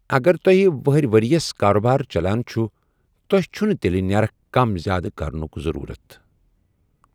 اگر توہہِ وٕہرِ وریس كابار چلان چھٗ ، توہہِ چھٗنہٕ تیلہِ نیرخ كم زیادٕ كرنٗك ضروُرت ۔